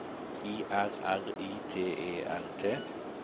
I R R I T E R T